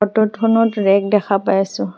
ফটোত খনত ৰেক দেখা পাই আছোঁ।